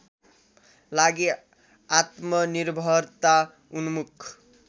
लागि आत्मनिर्भरता उन्मुख